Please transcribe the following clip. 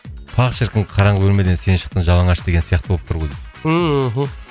па шіркін қараңғы бөлмеден сен шықтың жалаңаш деген сияқты болып тұр ғой дейді ыыы мхм